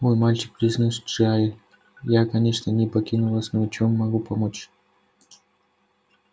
мой мальчик произнёс джаэль я конечно не покину вас но чем я могу помочь